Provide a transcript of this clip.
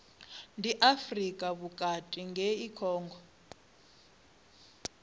ndi afrika vhukati ngei congo